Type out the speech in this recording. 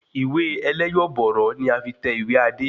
Ìwé ẹlẹ́yọ̀bọ̀rọ́ ni a fi tẹ̀wé Adé